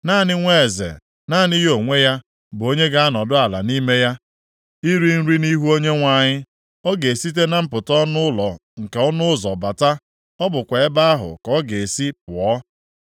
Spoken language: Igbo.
Naanị nwa eze, naanị ya onwe ya, bụ onye ga-anọdụ ala nʼime ya, iri nri nʼihu Onyenwe anyị. Ọ ga-esite na mpụta ọnụ ụlọ nke ọnụ ụzọ bata, ọ bụkwa ebe ahụ ka ọ ga-esi pụọ.”